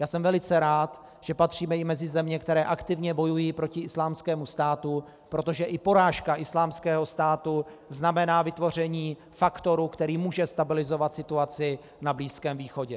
Já jsem velice rád, že patříme i mezi země, které aktivně bojují proti Islámskému státu, protože i porážka Islámského státu znamená vytvoření faktoru, který může stabilizovat situaci na Blízkém východě.